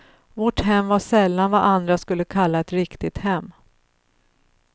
Vårt hem var sällan vad andra skulle kalla ett riktigt hem.